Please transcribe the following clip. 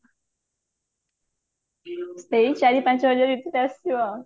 ସେଇ ଚାରି ପାଞ୍ଚ ହଜାର ଭିତରେ ଆସିବ ଆଉ